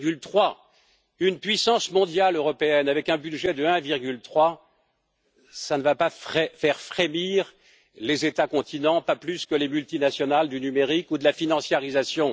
1,3. Une puissance mondiale européenne avec un budget de 1,3 ne va pas faire frémir les États continents, pas plus que les multinationales du numérique ou de la financiarisation.